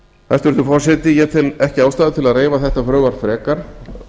dómsmáls hæstvirtur forseti ég tel ekki ástæðu til að reifa þetta frumvarp frekar